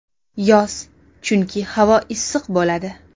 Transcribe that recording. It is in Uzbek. Yoz, chunki havo issiq bo‘ladi.